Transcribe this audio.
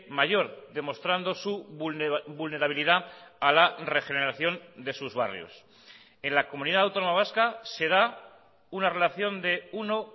mayor demostrando su vulnerabilidad a la regeneración de sus barrios en la comunidad autónoma vasca se da una relación de uno